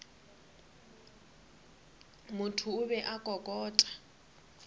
motho o be a kokota